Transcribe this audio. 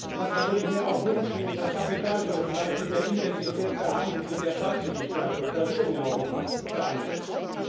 Manchmal würde ich mir auch wünschen, das Kapital würde vielleicht mit der Intensität behandelt, mit der Freizügigkeit von Personen in Europa behandelt wird.